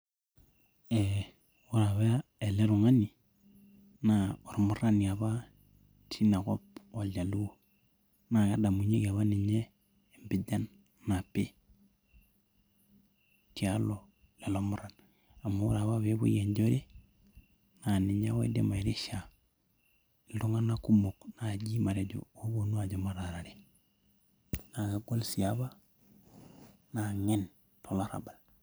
ore apa ele tung'ani naa olmurani apa, omurani apa teina kop, ooljaluo. naa kedamunyieki apa ninye empijan napi. tialo, lelo muran. amu ore apa pee epuoiejore naa ninye oidim airisha iltunganak kumok naaji, matejo looidim ataarer, naa kegol sii apa. naa ng'en tolarabal.